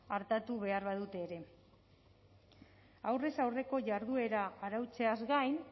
artatu behar badute ere aurrez aurreko jarduera arautzeaz gain